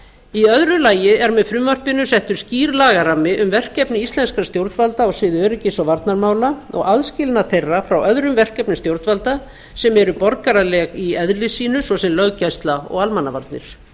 í öðru lagi er með frumvarpinu settur skýr lagarammi um verkefni íslenskra stjórnvalda á sviði öryggis og varnarmála og aðskilnað þeirra frá öðrum verkefnum stjórnvalda eru eru borgaraleg í eðli sínu svo sem löggæsla og almannavarnir